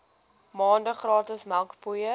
maande gratis melkpoeier